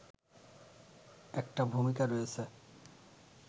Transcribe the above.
একটা ভূমিকা রয়েছে